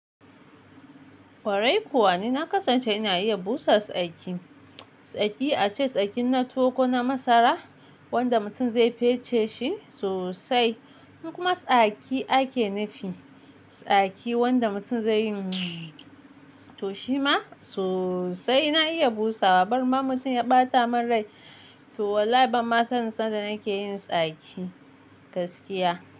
Ƙwarai kuwa ni na kasance ina iya busa tsaki. Tsaki ace tsakin na towo kona masara wanda mutum zai fece shi sosai in kuma tsaki ake nufi. Tsaki wanda mutum zai yi mtsww! To shima sosai ina iya busawa. Barema mutum ya ɓata mun rai to wallahi banma sanin sanda nake yin tsaki gaskiya.